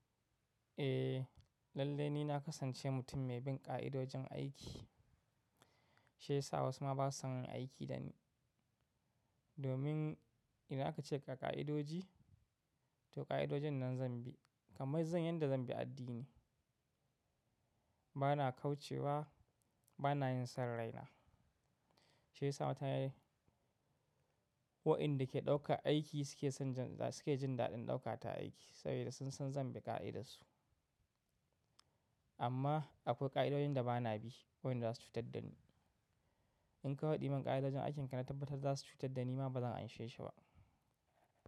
Eh, lallai ni na kasance mutum mai bin ƙa'idojin aiki. Shi ya sa wasu ma ba su san yin aiki da ni. Domin idan aka ce ka ka ka'idoji, to ƙa'idojin nan zan bi, kamar zan yadda zan bi addini. Bana kauce wa, bana yin sanraina. Shi ya sa waɗanda ke ɗauka aiki suke jin daɗin ɗaukata aiki saboda sun san zan bi ƙa'idarsu. Amma akwai ƙa'idoyin da bana bi, waɗanda za su cutar da ni. In ka haɗiye mun ƙa'idojin aikin ka na tabbatar za su cutar da ni ma bazan anshi shi ba.